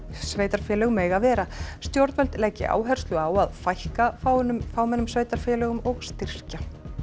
sveitarfélög mega vera stjórnvöld leggja áherslu á að fækka fámennum fámennum sveitarfélögum og styrkja